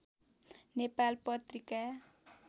Nepal Patrika